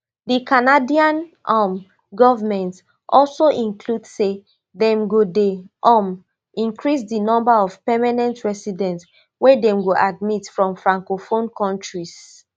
di canadian um govment also include say dem go dey um increase di number of permanent residents wey dem go admit from francophone kontris